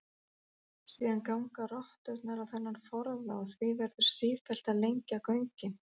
Síðan ganga rotturnar á þennan forða og því verður sífellt að lengja göngin.